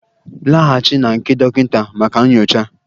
Laghachi na nke dọkịta maka nyocha!